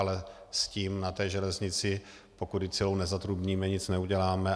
Ale s tím na té železnici, pokud ji celou nezatrubníme, nic neuděláme.